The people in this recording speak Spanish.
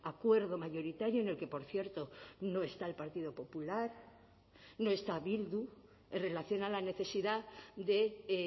acuerdo mayoritario en el que por cierto no está el partido popular no está bildu en relación a la necesidad de